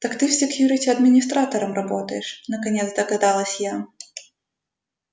так ты в секьюрити администратором работаешь наконец догадалась я